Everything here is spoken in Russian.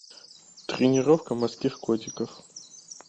тренировка морских котиков